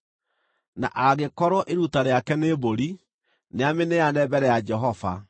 “ ‘Na angĩkorwo iruta rĩake nĩ mbũri, nĩamĩneane mbere ya Jehova.